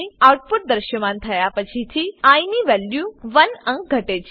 output દ્રશ્યમાન થયા પછીથી આઇ ની વેલ્યુ 1 અંક ઘટે છે